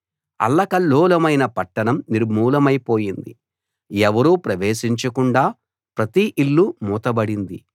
అల్లకల్లోలమైన పట్టణం నిర్మూలమై పోయింది ఎవరూ ప్రవేశించకుండా ప్రతి ఇల్లు మూతబడింది